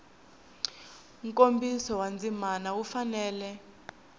nkomiso wa ndzima wu fanele